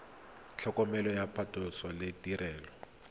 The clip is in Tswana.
tlhokomelo ya phatlhoso le ditirelo